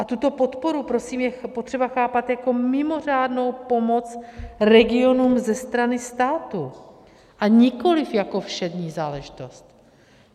A tuto podporu je prosím potřeba chápat jako mimořádnou pomoc regionům ze strany státu, a nikoliv jako všední záležitost.